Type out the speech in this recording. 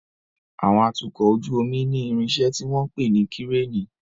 Àwọn atukọ̀ ojú omi ní irinṣẹ́ tí wọ́n ń pè ní Kíréènì.